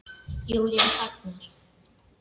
Júlía þagnar.